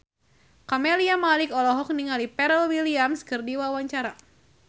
Camelia Malik olohok ningali Pharrell Williams keur diwawancara